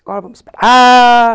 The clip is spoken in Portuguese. Agora vamos esperar. Ah